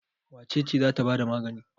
Wace ce za ta ba da magani?